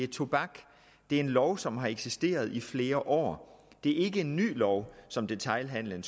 tobak det er en lov som har eksisteret i flere år det er ikke en ny lov som detailhandelen